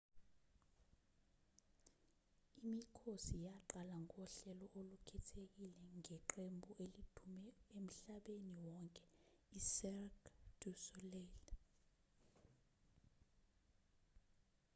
imikhosi yaqala ngohlelo olukhethekile ngeqembu elidume emhlabeni wonke icirque du soleil